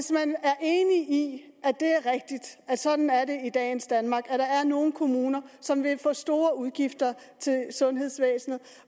det er sådan i dagens danmark at der er nogle kommuner som vil få nogle store udgifter til sundhedsvæsenet